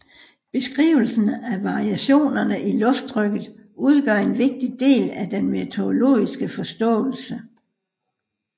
Beskrivelsen af variationerne i lufttrykket udgør en vigtig del af den meteorologiske forståelse